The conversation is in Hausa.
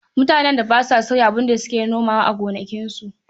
Mutanen da ba sa sauya abin da suke nomawa a gonakinsu.